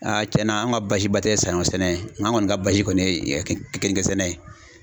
cɛn na an ka basi ba tɛ saɲɔ sɛnɛ nka an kɔni ka basi kɔni ye kenige sɛnɛ ye.